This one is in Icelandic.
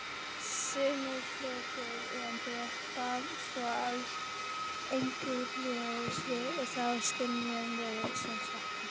Sumir fletir endurvarpa svo alls engu ljósi og þá skynjum við sem svarta.